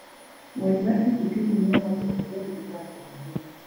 Ng'wech mar pikipiki miyo ng'ato ok bed gi parruok ahinya.